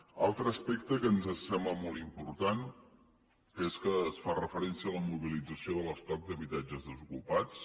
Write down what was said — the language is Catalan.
un altre aspecte que ens sembla molt important és que es fa referència a la mobilització de l’estoc d’habitatges desocupats